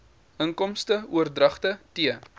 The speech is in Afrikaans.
inkomste oordragte t